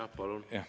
Jah, palun!